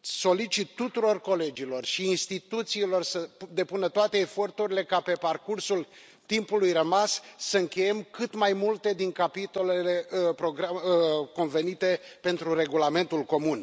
solicit tuturor colegilor și instituțiilor să depună toate eforturile ca, pe parcursul timpului rămas, să încheiem cât mai multe din capitolele convenite pentru regulamentul comun.